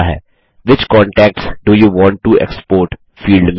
which contacts do you want to export field में